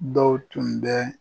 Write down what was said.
Dɔw tun bɛ